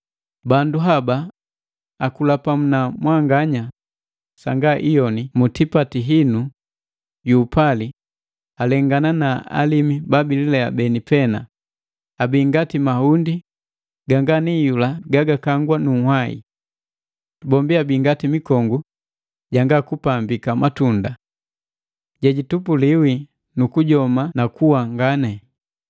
Bandu haba akula pamu na mwanganya sanga iyoni mu tipati hinu yu upali, alengana na alimi babililea beni pena. Abii ngati mahundi ganga ni iyula ga gakangwa nunhwahi. Bombi abi ngati mikongu janga kupambika matunda. Jejitupuliwi nukujoma na kuwa ngani,